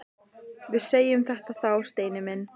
Við segjum þetta þá, Steini minn!